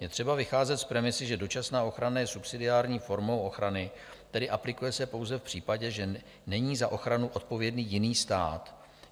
Je třeba vycházet z premisy, že dočasná ochrana je subsidiární formou ochrany, tedy aplikuje se pouze v případě, že není za ochranu odpovědný jiný stát.